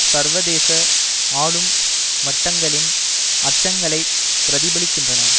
சர்வதேச ஆளும் வட்டங்களின் அச்சங்களைப் பிரதிபலிக்கின்றன